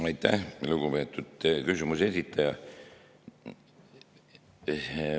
Aitäh, lugupeetud küsimuse esitaja!